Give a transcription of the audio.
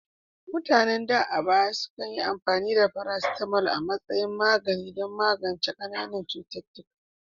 Mutanen da a baya sukan yi amfani da paracetamol a matsayin magani don magance qananan ciwon kai,